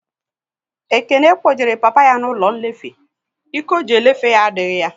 Ekene kpojere papa ya n'ụlọ nlefe, Ike ọ ji elefe ya adịghị ya